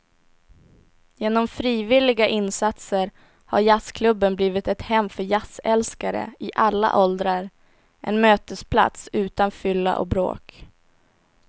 Genom frivilliga insatser har jazzklubben blivit ett hem för jazzälskare i alla åldrar, en mötesplats utan fylla och bråk.